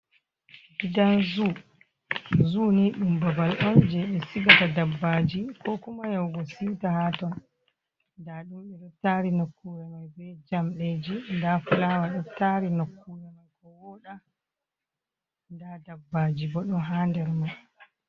Ndaa zuu, zuu ni ɗum babal on je ɓe sigata dabbaaji ko kuma yahugo siuta haa ton. Ndaa ɗum ɓe ɗo taari nokkuure mai be jamɗeeji, ndaa fulaawa ɗo taari nokkuure mai ko wooɗa, ndaa dabbaaji bo ɗon haa nder mai.